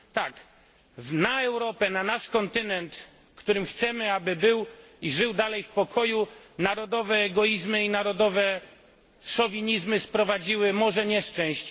Tak, na Europę, na nasz kontynent, w którym chcemy, aby był i żył nadal w pokoju, narodowe egoizmy i szowinizmy sprowadziły morze nieszczęść.